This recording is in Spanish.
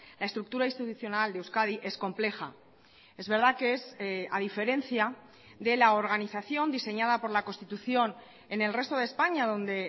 la estructura institucional de euskadi es compleja es verdad que es a diferencia de la organización diseñada por la constitución en el resto de españa donde